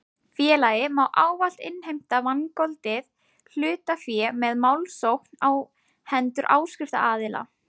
Félagið má ávallt innheimta vangoldið hlutafé með málsókn á hendur áskriftaraðila.